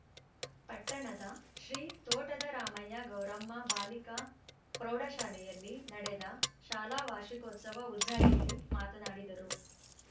ಪಟ್ಟಣದ ಶ್ರೀ ತೋಟದ ರಾಮಯ್ಯ ಗೌರಮ್ಮ ಬಾಲಿಕಾ ಪ್ರೌಢಶಾಲೆಯಲ್ಲಿ ನಡೆದ ಶಾಲಾ ವಾರ್ಷಿಕೋತ್ಸವ ಉದ್ಘಾಟಿಸಿ ಮಾತನಾಡಿದರು